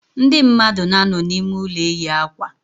Ndị mmadụ na-anọ n'ime ụlọ eyi akwa.